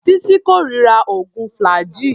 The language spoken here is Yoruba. Títí kórira oògùn flaggyl.